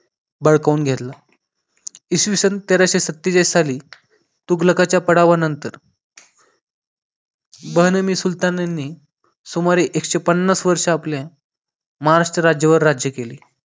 बळकावून घेतला इसवी सन तेराशे सतेचाळीस स तुगलकाच्या पडावा नंतर बहनामी सुलतानांनी सुमारे एकशे पन्नास वर्ष आपले महाराष्ट्र राज्यावर राज्य केले